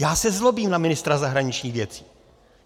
Já se zlobím na ministra zahraničních věcí.